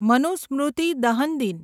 મનુસ્મૃતિ દહન દિન